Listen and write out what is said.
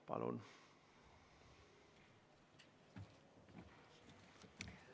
Palun!